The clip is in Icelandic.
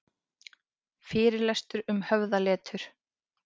Fyrirlestur um höfðaletur